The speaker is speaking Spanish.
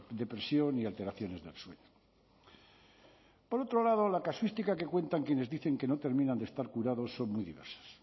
depresión y alteraciones del sueño por otro lado la casuística que cuentan quienes dicen que no terminan de estar curados son muy diversas